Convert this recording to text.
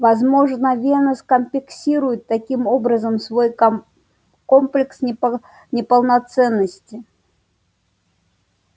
возможно венус компенсирует таким образом свой комплекс неполноценности